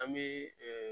An bɛ